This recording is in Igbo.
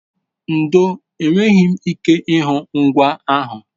ndo, enweghi m ike ihu ngwa ahu